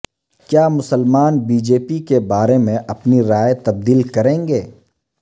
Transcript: کیا مسلمان B J P کے بارے میں اپنی رائے تبدیل کریں گے